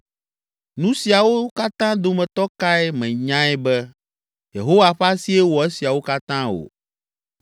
Nu siawo katã dometɔ kae menyae be, Yehowa ƒe asie wɔ esiawo katã o?